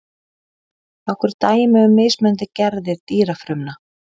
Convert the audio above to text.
nokkur dæmi um mismunandi gerðir dýrafrumna